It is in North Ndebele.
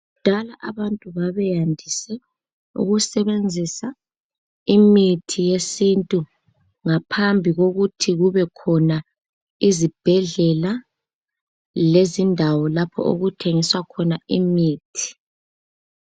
kudala abantu babeyandise ukusebenzisa imithi yesintu ngaphambi kokuthi kubekhona izibhedlela lezindawo lapho okuthengiswa khona imithi